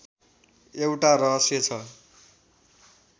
एउटा रहस्य छ